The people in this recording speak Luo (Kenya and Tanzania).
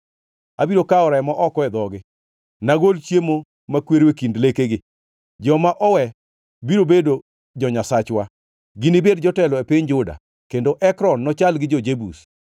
Abiro kawo remo oko e dhogi, nagol chiemo makwero e kind lekegi. Joma owe biro bedo jo-Nyasachwa; ginibed jotelo e piny Juda, kendo Ekron nochal gi jo-Jebus.